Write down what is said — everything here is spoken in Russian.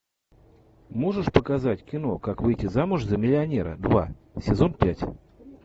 можешь показать кино как выйти замуж за миллионера два сезон пять